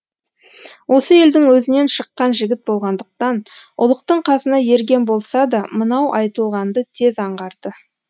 осы елдің өзінен шыққан жігіт болғандықтан ұлықтың қасына ерген болса да мынау айтылғанды тез аңғарды